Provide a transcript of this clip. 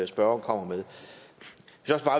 spørgeren kommer med